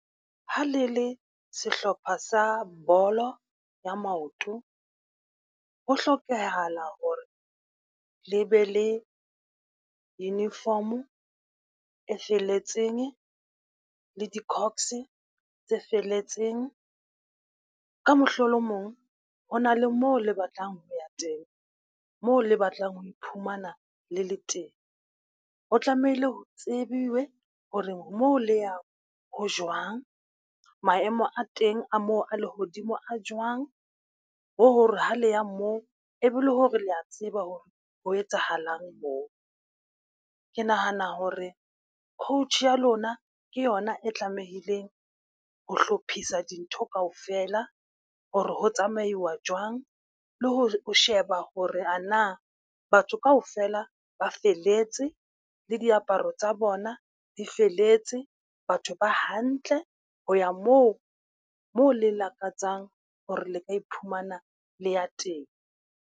Ha le le sehlopha sa bolo ya maoto, ho hlokahala hore le be le uniform e felletseng le di-cox tse felletseng. Ka mohlolomong, ho na le moo le batlang ho ya teng moo le batlang ho iphumana le le teng. Ho tlamehile ho tsebiwe hore moo le yang ho jwang, maemo a teng a mo a lehodimo a jwang, le hore ha le ya moo e be le ho re le a tseba hore ho etsahalang moo. Ke nahana hore coach ya lona ke yona e tlamehileng ho hlophisa dintho kaofela, ho re ho tsamaiwa jwang le ho sheba hore a na batho kaofela ba feletse le diaparo tsa bona di feletse. Batho ba hantle ho ya moo moo le lakatsang hore le ka iphumana le ya teng.